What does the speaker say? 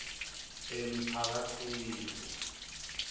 emiphakatsini